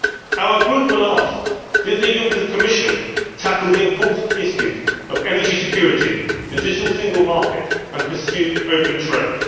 Our group will ask did the Juncker Commission tackle the important issues of energy security and the digital single market and pursue open trade